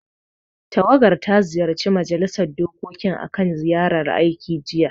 Tawagar ta ziyarci Majilisar dokokin akan ziyarar aiki, jiya.